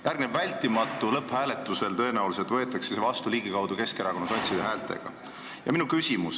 Järgneb vältimatu: lõpphääletusel võetakse see avaldus tõenäoliselt Keskerakonna ja sotside häältega vastu.